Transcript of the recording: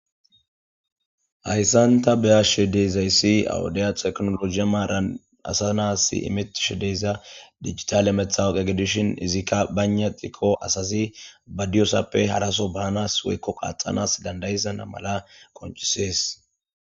Hayssan ta be'ashe de'izayssi ha wodeya teknoloje maaran asa na'as immetishe diza dijitale matawoqiya gidishin izikka baynna gidiko asazi ba diyosappe haraso baanas woykko qaaxisanas dandda'isana mala qonccisees.